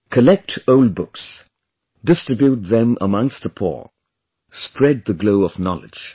Collect old books, distribute them amongst the poor, spread the glow of knowledge